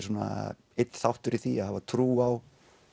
svona einn þáttur í því að hafa trú á